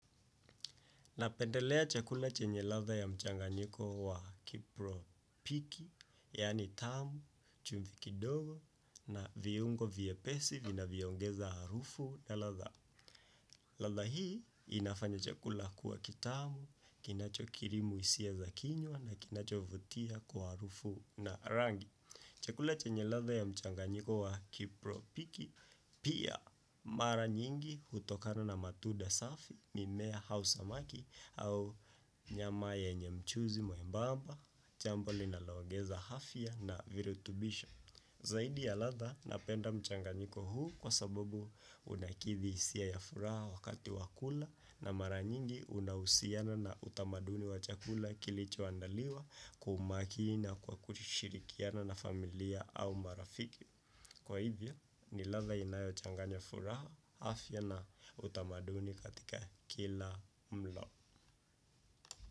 Napendelea chakula chenye ladha ya mchanganyiko wa kipro piki, yani tamu, chumvi kidogo, na viungo vyepesi, vinavyo ongeza harufu na ladha. Ladha hii, inafanya chakula kuwa kitamu, kinacho kirimu hisia za kinywa, na kinacho vutia kwa harufu na rangi. Chakula chenye ladha ya mchanganyiko wa kipro piki, pia mara nyingi hutokana na matunda safi, mimea au samaki au nyama yenye mchuzi mwembamba, jambo linaloongeza afya na virutubisho. Zaidi ya ladha napenda mchanganyiko huu kwa sabobu unakithi hisia ya furaha wakati wa kula na mara nyingi unahusiana na utamaduni wa chakula kilichoandaliwa kwa umakini na kwa kushirikiana na familia au marafiki. Kwa hivyo ni ladha inayochanganya furaha afya na utamaduni katika kila mlo.